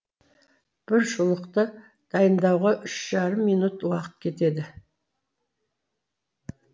бір шұлықты дайындауға үш жарым минут уақыт кетеді